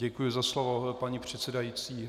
Děkuji za slovo, paní předsedající.